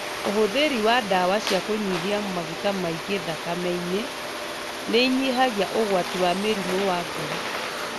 ũhũthĩri wa ndawa cia kũnyihia maguta maingĩ thakame-inĩ nĩinyihagia ũgwati wa mũrimũ wa ngoro